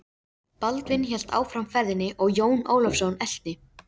Baldvin hélt áfram ferðinni og Jón Ólafsson elti.